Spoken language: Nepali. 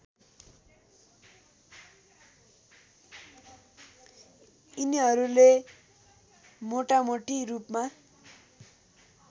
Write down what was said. यिनीहरूले मोटामोटी रूपमा